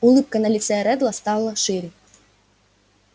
улыбка на лице реддла стала шире